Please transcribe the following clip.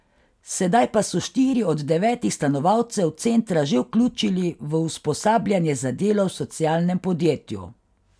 Sedaj pa so štiri od devetih stanovalcev centra že vključili v usposabljanje za delo v socialnem podjetju.